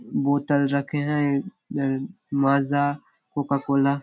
बोतल रखे है माजा कोका कोला --